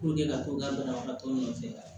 ka to ka banabagatɔw nɔfɛ